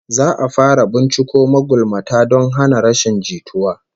Za'a fara binciko magulmata don hana rashin jituwa